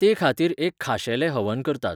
तेखातीर एक खाशेलें हवन करतात.